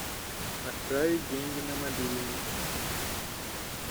отправить деньги на мобильный